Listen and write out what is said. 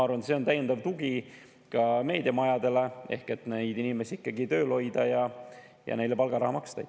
See on täiendav tugi ka meediamajadele, selleks et neid inimesi ikkagi tööl hoida ja neile palgaraha maksta.